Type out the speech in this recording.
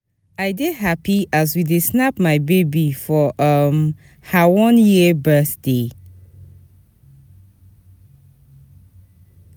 I dey hapi as we dey snap my baby for um her one year birthday.